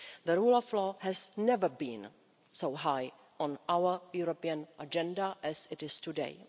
The rule of law has never been so high on our European agenda as it is today.